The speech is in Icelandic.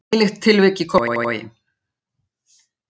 Nýlegt tilvik í Kópavogi